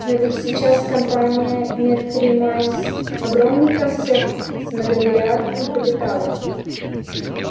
но ведь сейчас компания меркюри майнз огромный концерт с многомиллиардным капиталом